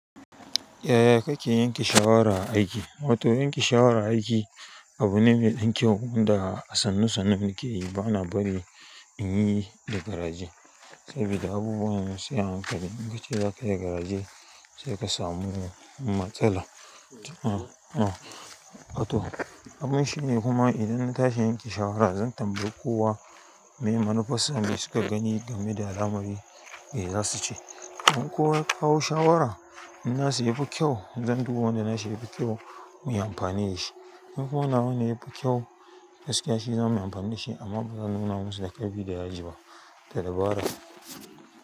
Yaya kake yanke shawara a aiki? Wato yanke shawara a aiki abu ne mai ɗan kyau wanda a sannu sannu muke yi bana bari in yi da garaje. Saboda abubuwan ma sai a hankali, in ka ce za ka yi garaje sai ka samu matsala. To abun shi ne kuma idan na tashi yanke shawara zan tambayi kowa me manufar su me suke gani game da zamani me za su ce. In kowa ya kawo shawara in na su yafi kyau zan duba wanda na shi yafi kyau muyi amfani da shi. In kuma nawa na yafi kyau gaskiya shi zamuyi amfani da shi amma bazan nuna musu da ƙarfi da yaji ba da dabara.